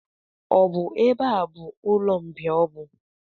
Ọ bụ ebe a bụ ụlọmbịa ọbụ?